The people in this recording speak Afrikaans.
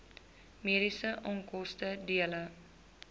mediese onkoste dele